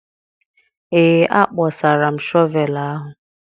ee, akpọsara m shọvel ahụ